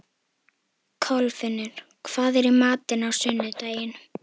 Kolfinnur, hvað er í matinn á sunnudaginn?